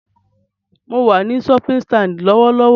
Mo wà ní shopping stand lọ́wọ́lọ́wọ́